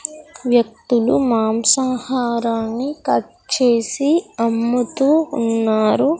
వ్యక్తులు మాంసాహారాన్ని కట్ చేసి అమ్ముతూ ఉన్నారు .